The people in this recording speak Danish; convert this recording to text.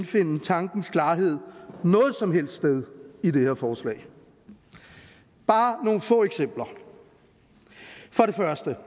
finde tankens klarhed noget som helst sted i det her forslag bare nogle få eksempler for det første